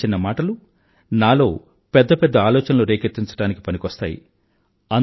మీ చిన్న చిన్న మాటలు నాలో పెద్ద పెద్ద ఆలోచనలు రేకెత్తించడానికి పనికొస్తాయి